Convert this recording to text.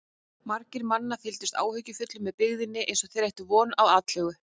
Margir mannanna fylgdust áhyggjufullir með byggðinni eins og þeir ættu von á atlögu.